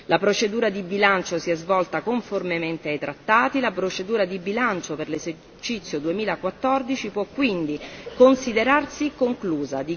La procedura di bilancio si è svolta conformemente ai Trattati e la procedura di bilancio per l'esercizio 2014 può pertanto considerarsi conclusa.